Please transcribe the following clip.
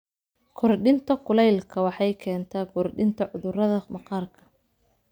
Kordhinta kuleylka waxay keentaa kordhinta cudurrada maqaarka.